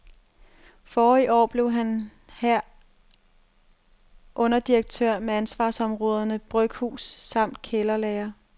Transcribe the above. Forrige år blev han her underdirektør med ansvarsområderne bryghus samt kælderlagre.